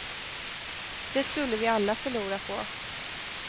Det skulle vi alla förlora på.